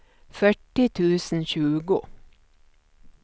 fyrtio tusen tjugo